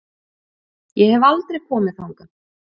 Ég hef aldrei komið þangað.